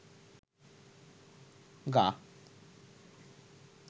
গা